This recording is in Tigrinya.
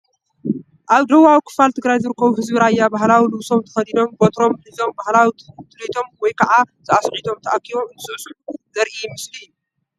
ኣብ ደቡባዊ ክፋል ትግራይ ዝርከቡ ህዝቢ ራያ ባህላዊ ልብሶም ተኸዲኖም በትሮም ሒዞም ባህላዊ ትልሂቶም ወይ ከዓ ሳዕስዒቶም ተኣኪቦም እንትስዕስዑ ዘርኢ ምስሊ እዩ፡፡